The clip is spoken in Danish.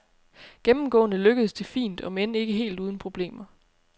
Gennemgående lykkedes det fint, om end ikke helt uden problemer.